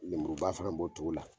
Lemuruba fana b'o cogo la.